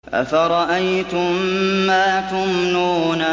أَفَرَأَيْتُم مَّا تُمْنُونَ